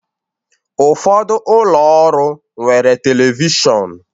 Ụfọdụ ụlọ ọrụ nwere telivishọn